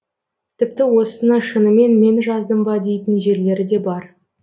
тіпті осыны шынымен мен жаздым ба дейтін жерлері де бар